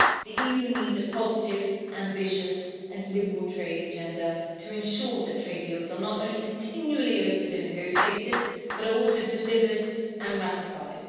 The EU needs a positive, ambitious and liberal trade agenda to ensure that trade deals are not only continually opened and negotiated, but are also delivered and ratified.